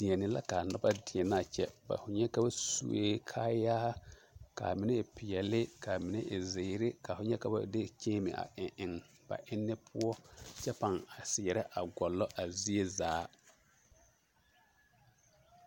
Deɛne la k'a noba deɛnɛ a kyɛ, ka ba sue kaayaa k'a mine e peɛle, k'a mine e zeere, ka ho nyɛ ka ba de kyeeme a eŋ eŋ ba enne poɔ kyɛ pãã a seɛrɛ a gɔllɔ a zie zaa.